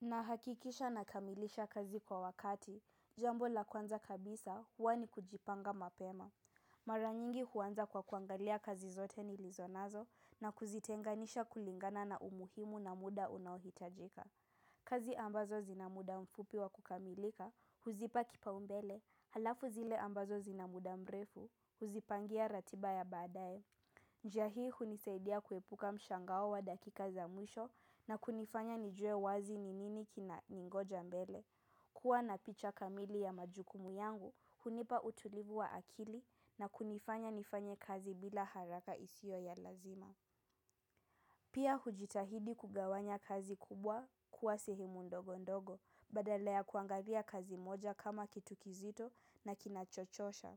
Nahakikisha nakamilisha kazi kwa wakati, jambo la kwanza kabisa huwa ni kujipanga mapema. Mara nyingi huanza kwa kuangalia kazi zote nilizonazo, na kuzitenganisha kulingana na umuhimu na muda unaohitajika. Kazi ambazo zina muda mfupi wa kukamilika, huzipa kipaumbele, alafu zile ambazo zina muda mrefu, huzipangia ratiba ya baadae. Njia hii hunisaidia kuepuka mshangao wa dakika za mwisho, na kunifanya nijue wazi ni nini kinaningoja mbele. Kua na picha kamili ya majukumu yangu, hunipa utulivu wa akili na kunifanya nifanye kazi bila haraka isio ya lazima. Pia hujitahidi kugawanya kazi kubwa kuwa sehemu ndogo ndogo, badala ya kuangalia kazi moja kama kitu kizito na kinacho chosha.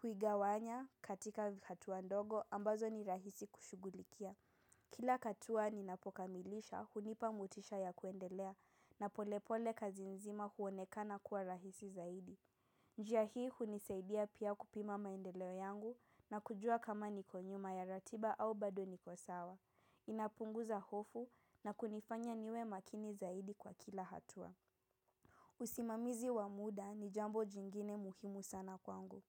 Huigawanya katika hatua ndogo ambazo ni rahisi kushughulikia. Kila hatua ninapokamilisha, hunipa motisha ya kuendelea na polepole kazi nzima huonekana kuwa rahisi zaidi. Njia hii hunisaidia pia kupima maendeleo yangu, na kujua kama niko nyuma ya ratiba au bado niko sawa. Inapunguza hofu, na kunifanya niwe makini zaidi kwa kila hatua. Usimamizi wa muda ni jambo jingine muhimu sana kwangu.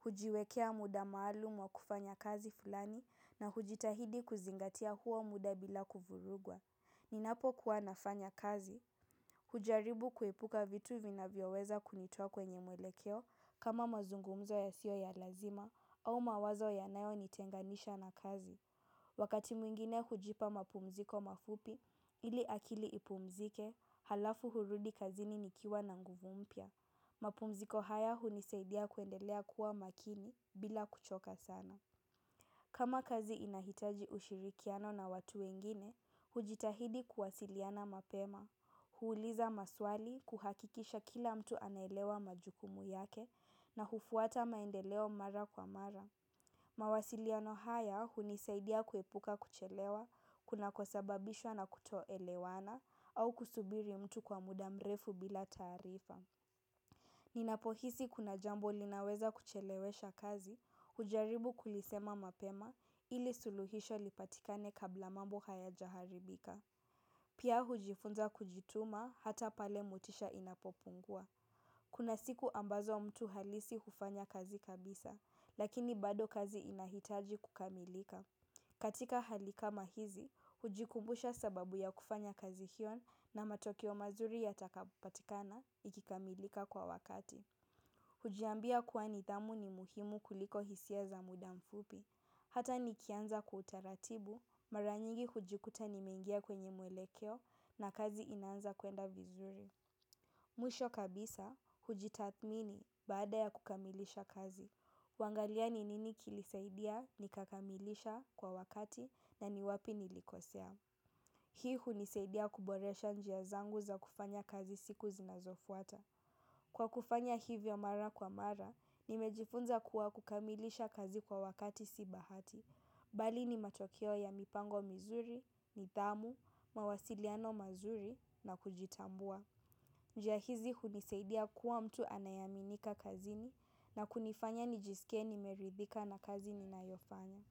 Hujiwekea muda maalumu wa kufanya kazi fulani, na hujitahidi kuzingatia huo muda bila kuvurugwa. Ninapokuwa nafanya kazi, hujaribu kuepuka vitu vinavyoweza kunitoa kwenye muelekeo, kama mazungumzo yasiyo ya lazima, au mawazo yanayonitenganisha na kazi. Wakati mwingine hujipa mapumziko mafupi ili akili ipumzike, alafu hurudi kazini nikiwa na nguvu mpya. Mapumziko haya hunisaidia kuendelea kuwa makini bila kuchoka sana. Kama kazi inahitaji ushirikiano na watu wengine, hujitahidi kuwasiliana mapema, huuliza maswali, kuhakikisha kila mtu anelewa majukumu yake na hufuata maendeleo mara kwa mara. Mawasiliano haya hunisaidia kuepuka kuchelewa, kunakosababishwa na kutoelewana, au kusubiri mtu kwa muda mrefu bila taarifa. Ninapohisi kuna jambo linaweza kuchelewesha kazi, hujaribu kulisema mapema ili suluhisho lipatikane kabla mambo hayajaharibika. Pia hujifunza kujituma hata pale motisha inapopungua. Kuna siku ambazo mtu hahisi hufanya kazi kabisa, lakini bado kazi inahitaji kukamilika. Katika hali kama hizi, hujikumbusha sababu ya kufanya kazi hiyo na matokeo mazuri ya takapatikana ikikamilika kwa wakati. Hujiambia kuwa nidhamu ni muhimu kuliko hisia za muda mfupi. Hata nikianza kwa utaratibu mara nyingi hujikuta nimengia kwenye muelekeo, na kazi inaanza kwenda vizuri. Mwisho kabisa, hujitathimini baada ya kukamilisha kazi. Huangalia ni nini kilisaidia nikakamilisha kwa wakati na ni wapi nilikosea. Hii hunisaidia kuboresha njia zangu za kufanya kazi siku zinazofuata. Kwa kufanya hivyo mara kwa mara, nimejifunza kuwa kukamilisha kazi kwa wakati si bahati. Bali ni matokeo ya mipango mizuri, nidhamu, mawasiliano mazuri na kujitambua. Njia hizi hunisaidia kuwa mtu anayeaminika kazini na kunifanya nijisike nimeridhika na kazi ninayofanya.